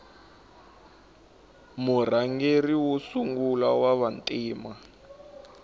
murhangeri wa sungula wava ntima